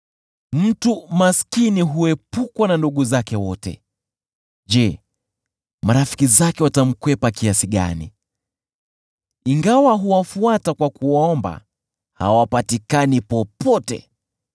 Mtu maskini huepukwa na ndugu zake wote: Je, marafiki zake watamkwepa kiasi gani! Ingawa huwafuata kwa kuwasihi, hawapatikani popote.